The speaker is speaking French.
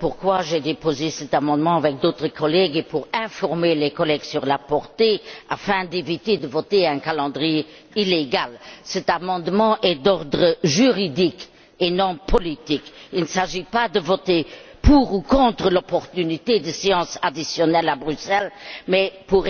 pourquoi j'ai déposé cet amendement avec d'autres collègues et informer les collègues sur sa portée, afin d'éviter de voter un calendrier illégal. Cet amendement est d'ordre juridique et non politique. Il ne s'agit pas de voter pour ou contre l'opportunité de séances additionnelles à Bruxelles, mais pour